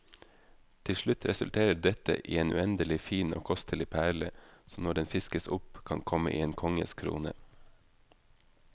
Til slutt resulterer dette i en uendelig fin og kostelig perle, som når den fiskes opp kan komme i en konges krone.